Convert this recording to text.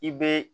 I bɛ